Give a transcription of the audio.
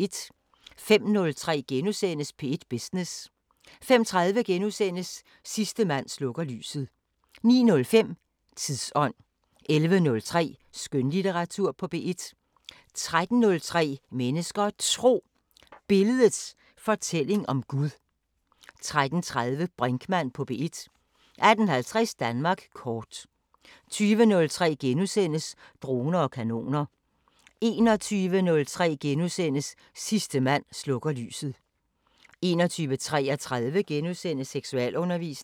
05:03: P1 Business * 05:30: Sidste mand slukker lyset * 09:05: Tidsånd 11:03: Skønlitteratur på P1 13:03: Mennesker og Tro: Billedets fortælling om Gud 13:30: Brinkmann på P1 18:50: Danmark kort 20:03: Droner og kanoner * 21:03: Sidste mand slukker lyset * 21:33: Seksualundervisning *